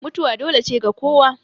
mutuwa dole ne ga kowa